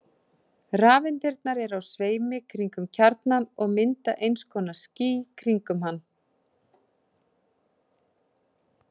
Rafeindirnar eru á sveimi kringum kjarnann og mynda eins konar ský kringum hann.